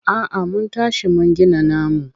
A'a mun tashi mun gina namu.